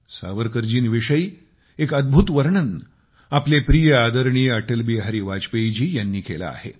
सावरकरजींविषयी एक अदभूत वर्णन आपले प्रिय आदरणीय अटलबिहारी वाजपेयीजी यांनी केले आहे